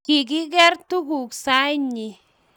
Kigigeer tuguk sainyi